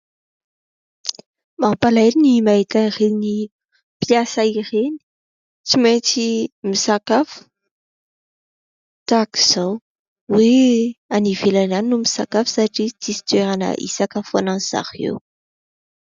Mampalahelo ny mahita ireny mpisa ireny, tsy maintsy misakafo tahaka izao, hoe any ivelany any no misakafo fa tsy misy toerana hisakafoanan'izy ireo.